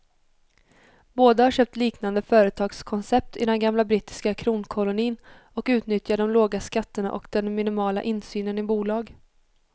Båda har köpt liknande företagskoncept i den gamla brittiska kronkolonin och utnyttjar de låga skatterna och den minimala insynen i bolag.